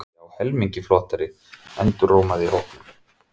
Já, helmingi flottari, endurómaði í hópnum.